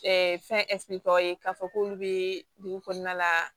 fɛn tɔ ye k'a fɔ k'olu bɛ dugu kɔnɔna la